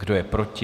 Kdo je proti?